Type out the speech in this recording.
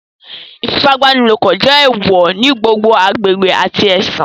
Ifipabanilopo jẹ eewọ ni gbogbo agbegbe ati ẹsin